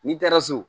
N'i taara so